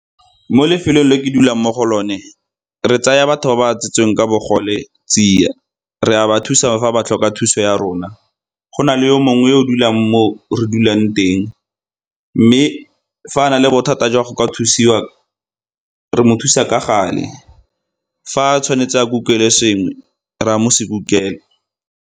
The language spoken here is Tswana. Mo lefelong le ke dulang mo go lone re tsaya batho ba ba tsetsweng ka bogole tsia, re a ba thusa fa ba tlhoka thuso ya rona. Go na le yo mongwe yo o dulang mo re dulang teng, mme fa a na le bothata jwa go ka thusiwa re mo thusa ka gale, fa tshwanetse a kukelwe sengwe, re a mo se kukela.